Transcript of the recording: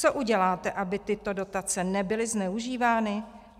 Co uděláte, aby tyto dotace nebyly zneužívány?